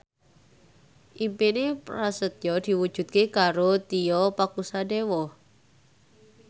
impine Prasetyo diwujudke karo Tio Pakusadewo